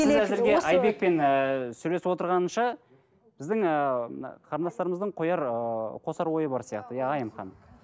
сіз әзірге айбекпен ыыы сөйлесіп отырғанша біздің ыыы мына қарындастарымыздың қояр ыыы қосар ойы бар сияқты иә айым ханым